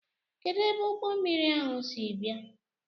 Kedụ ebe ụgbọmmiri ahụ si bịa?